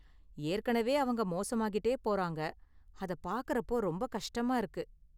ஏற்கனவே அவங்க மோசமாகிட்டே போறாங்க, அத பார்க்கறப்போ ரொம்ப கஷ்டமா இருக்கு.